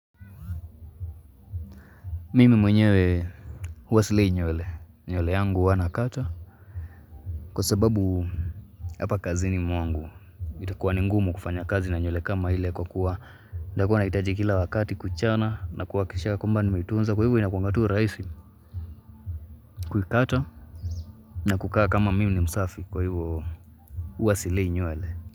Mimi mwenyewe huwa silei nywele, nywele yangu huwa nakata kwa sababu hapa kazini mwangu itakuwa ni ngumu kufanya kazi na nywele kama ile kwa kuwa nitakuwa nahitaji kila wakati kuchana na kuhakikisha ya kwamba nimeitunza kwa hivo inakuanga tu rahisi kuikata na kukaa kama mimi ni msafi kwa hivo huwa silei nywele.